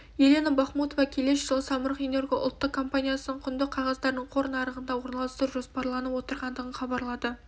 елена бахмутова келесі жылы самұрық-энерго ұлттық компаниясының құнды қағаздарын қор нарығында орналастыру жоспарланып отырғандығын хабарлады